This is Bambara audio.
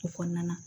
O kɔnɔna na